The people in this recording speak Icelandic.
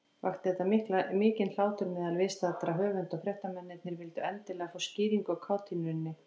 Vakti þetta mikinn hlátur meðal viðstaddra höfunda, og fréttamennirnir vildu endilega fá skýringu á kátínunni.